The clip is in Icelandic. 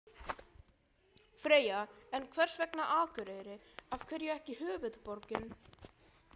Freyja: En hvers vegna Akureyri, af hverju ekki höfuðborgin?